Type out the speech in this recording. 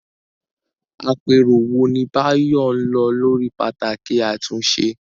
Àpérò wo ni Bayo lọ lórí pàtàkì àtúnṣe?